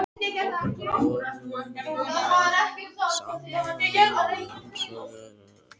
Borunin var sameiginlegt rannsóknarverkefni hópa frá Íslandi, Kanada, Bretlandi